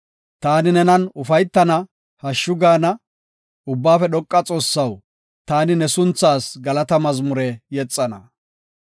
Taani nenan ufaytana hashshu gaana. Ubbaafe Dhoqa Xoossaw, taani ne sunthaas galata mazmure yexana.